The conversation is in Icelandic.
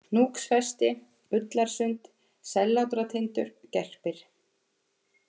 Hnúksfesti, Ullarsund, Sellátratindur, Gerpir